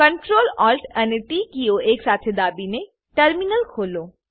Ctrl Alt અને T કિઓને એક સાથે દબાવીને ટર્મિનલ ખોલો